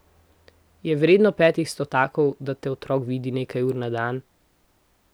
Je vredno petih stotakov, da te otrok vidi nekaj ur na dan?